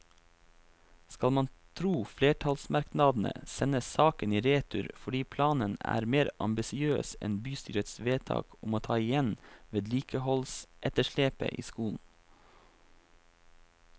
Skal man tro flertallsmerknadene, sendes saken i retur fordi planen er mer ambisiøs enn bystyrets vedtak om å ta igjen vedlikeholdsetterslepet i skolen.